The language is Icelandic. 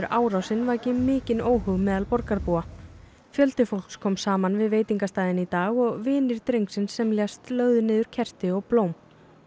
árásin vakið mikinn óhug meðal borgarbúa fjöldi fólks kom saman við veitingastaðinn í dag og vinir drengsins sem lést lögðu niður kerti og blóm